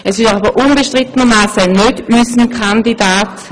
Herr Furrer ist jedoch unbestrittenermassen nicht unser Kandidat.